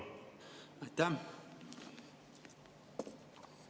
Aitäh!